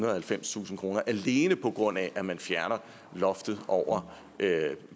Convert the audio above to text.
og halvfemstusind kr alene på grund af at man fjerner loftet over